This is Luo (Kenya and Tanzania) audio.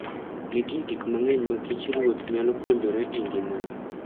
Nitie gik mang'eny ma kich ruoth nyalo puonjore e ngimane.